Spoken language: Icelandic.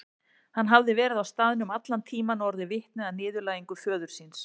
Hann hafði verið á staðnum allan tíman og orðið vitni að niðurlægingu föður síns.